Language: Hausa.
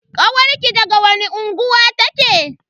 Kawarki daga wani unguwa take?